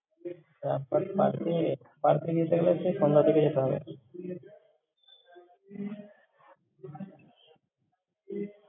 Ah but park এ park এ যেতে গেলে তো সন্ধ্যা করে যেতে হবে। হ্যাঁ, যখনই যাবি